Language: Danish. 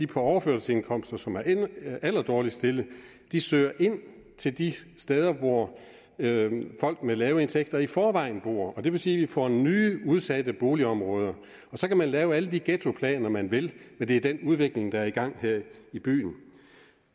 på overførselsindkomster som er allerdårligst stillede søger ind til de steder hvor folk med lave indtægter i forvejen bor og det vil sige får nye udsatte boligområder så kan man lave alle de ghettoplaner man vil men det er den udvikling der er i gang her i byen